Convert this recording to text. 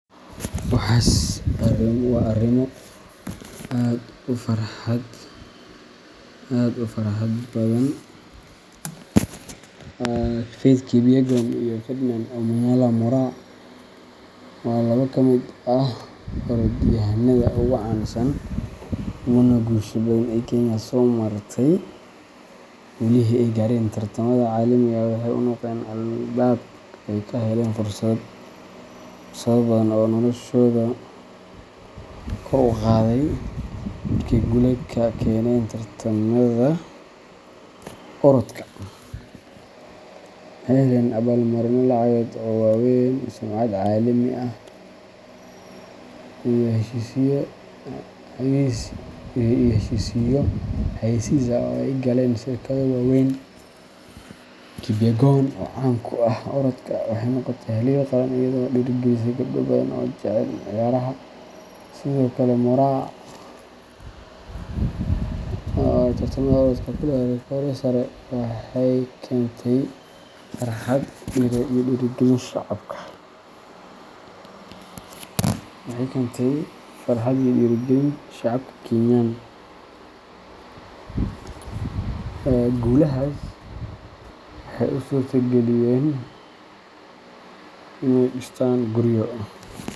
Waxas wa arimo aad u farxad badan. Faith Kipyegon iyo Ferdinand Omanyala Moraa waa laba ka mid ah orodyahanada ugu caansan uguna guusha badan ee Kenya soo martay, guulihii ay gaareen tartamada caalamiga ah waxay u noqdeen albaab ay ka heleen fursado badan oo noloshooda kor u qaaday. Markay guulo ka keeneen tartamada orodka, waxay heleen abaal-marinno lacageed oo waaweyn, sumcad caalami ah, iyo heshiisyo xayeysiis ah oo ay la galeen shirkado waaweyn. Kipyegon, oo caan ku ah orodka, waxay noqotay halyeey qaran iyadoo dhiirrigelisay gabdho badan oo jecel ciyaaraha. Sidoo kale Moraa, oo tartamada orodka ku leh rikoodho heer sare ah, waxay keentay farxad iyo dhiirrigelin shacabka Kenyan. Guulahaas waxay u suurtageliyeen inay dhistaan guryo.